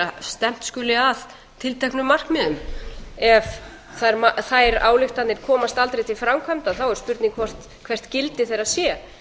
að stefnt skuli að tilteknum markmiðum ef þær ályktanir komast aldrei til framkvæmda er spurning hvert gildi þeirra sé